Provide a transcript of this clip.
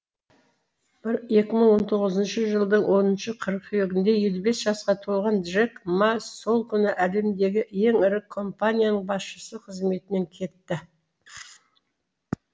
екі мың он тоғызыншы жылдың оныншы қыркүйегінде елу бес жасқа толған джек ма сол күні әлемдегі ең ірі компанияның басшысы қызметінен кетті